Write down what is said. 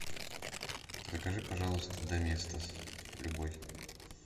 закажи пожалуйста доместос любой